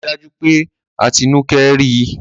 Rí dájú pé Atinúkẹ́ rí!